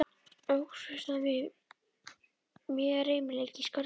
Óx við það mjög reimleiki í Skörðunum.